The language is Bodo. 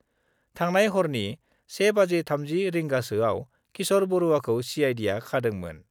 थांनाय हरनि 1.30 रिंगासोयाव किशर बरुवाखौ सिआइडिआ खादोंमोन।